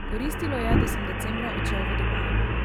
Koristilo je, da sem decembra odšel v Dubaj.